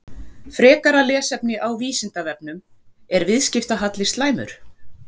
Frekara lesefni á Vísindavefnum: Er viðskiptahalli slæmur?